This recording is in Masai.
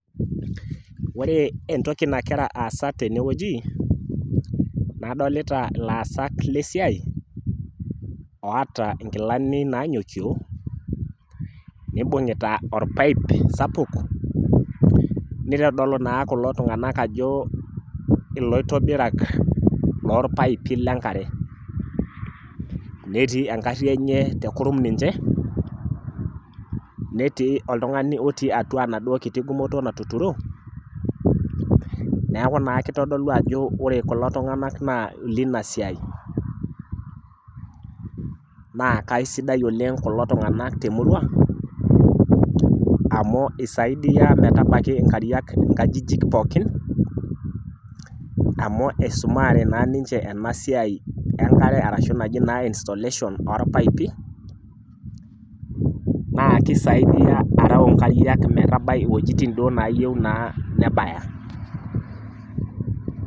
Ore entoki nagira aasa tenewueji, adolita ilaasak lesiai, wata inkilani nanyokio, nibung'ita orpaip sapuk, nitodolu naa kulo tung'anak ajo iloitobirak lorpaipi lenkare. Netii egarri enye tekurum ninche, netii oltung'ani otii atua enaduo kiti gumoto natuturo, neeku naa kitodolu ajo ore kulo tung'anak naa ilinasiai. Na kaisidai oleng kulo tung'anak temurua, amu isaidia metabaki inkariak inkajijik pookin, amu isumaare naa ninche enasiai enkare ashu naji naa installation orpaipi, naa kisaidia areu inkariak metabai iwojitin duo nayieu naa nebaya.